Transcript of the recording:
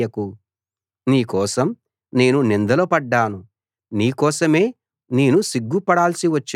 నీ కోసం నేను నిందలు పడ్డాను నీ కోసమే నేను సిగ్గు పడాల్సి వచ్చింది